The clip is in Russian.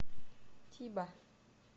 тиба